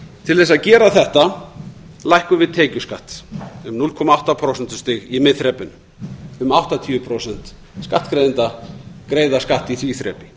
til að gera þetta lækkum við tekjuskatt um núll komma átta prósentustig í miðþrepinu um áttatíu prósent skattgreiðenda greiða skatt í því þrepi